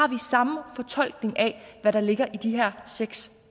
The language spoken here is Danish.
den samme fortolkning af hvad der ligger i de her seks